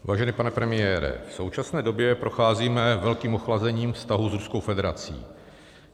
Vážený pane premiére, v současné době procházíme velkým ochlazením vztahů s Ruskou federací.